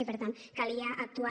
i per tant calia actuar